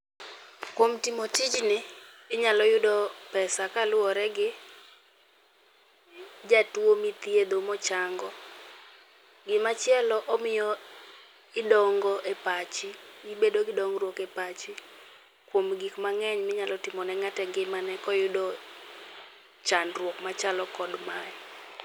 Kuom timo tijni, inyalo yudo pesa kaluwore gi jatuo mithiedho mochango. Gima chielo omiyo idongo e pachi. Ibedo gi dongruok e pachi kuom gik mang'eny minyalo timo ne ng'ato engimane kiyudo chandruok machalo kod mae.